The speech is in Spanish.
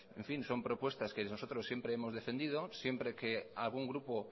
son propuestas que nosotros siempre hemos defendido siempre que algún grupo